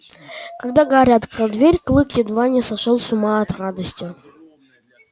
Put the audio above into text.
когда гарри открыл дверь клык едва не сошёл с ума от радости